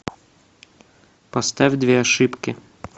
поставь две ошибки